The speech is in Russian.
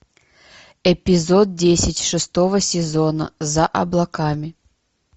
эпизод десять шестого сезона за облаками